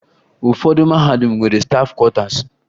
Ụfọdụ mahadum nwere stafụ kwọtaasi